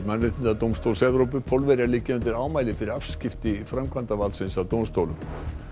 Mannréttindadómstóls Evrópu Pólverjar liggja undir ámæli fyrir afskipti framkvæmdavaldsins af dómstólum